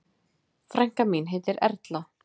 Frænka mín heitir Erla.